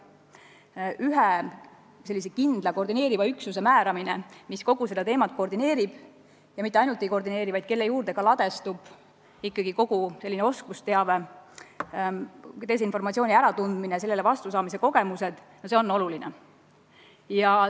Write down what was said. Peaks olema üks kindel üksus, kes kogu seda valdkonda koordineerib ja mitte ainult ei koordineeri, vaid kelle juurde ka ladestub kogu sellealane oskusteave, kus tuntakse desinformatsioon ära ja kus oleks olemas kogemused, kuidas selle vastu võidelda.